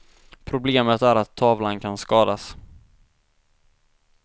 Problemet är att tavlan kan skadas.